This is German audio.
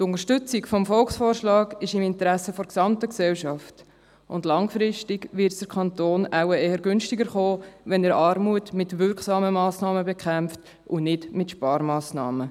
Die Unterstützung des Volksvorschlags ist im Interesse der gesamten Gesellschaft, und langfristig wird es den Kanton wohl eher günstiger kommen, wenn er Armut mit wirksamen Massnahmen bekämpft und nicht mit Sparmassnahmen.